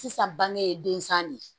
Sisan bange densa de ye